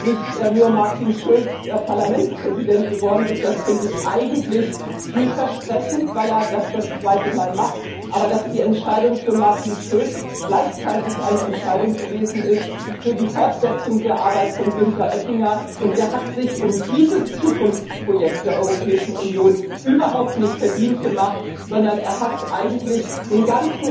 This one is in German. nicht nur Martin Schulz Parlamentspräsident geworden ist das finde ich eigentlich vielversprechend, weil er das zum zweiten Mal macht sondern dass die Entscheidung für Martin Schulz auch gleichzeitig eine Entscheidung gewesen ist für die Fortsetzung der Arbeit von Günther Oettinger. Der hat sich um dieses Zukunftsprojekt der Europäischen Union überhaupt nicht verdient gemacht, sondern er hat eigentlich den ganzen